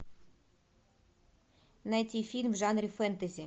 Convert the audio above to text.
найти фильм в жанре фэнтези